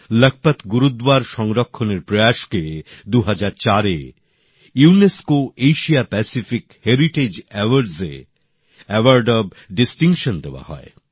লখপত গুরুদ্বার সংরক্ষণের প্রয়াসকে ২০০৪ সালে ইউনেস্কোর এশিয়প্রশান্তমহাসাগরিয় হেরিটেজ পুরস্কারে এওয়ার্ড অফ ডিসটিংশন দেওয়া হয়